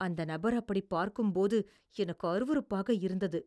அந்த நபர் அப்படிப் பார்க்கும்போது எனக்கு அருவருப்பாக இருந்தது.